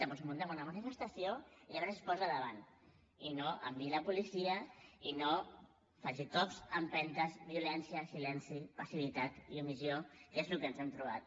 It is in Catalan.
doncs muntem una manifestació i a veure si s’hi posa davant i no hi enviï la policia ni faci cops empentes violència silenci passivitat i omissió que és el que ens hem trobat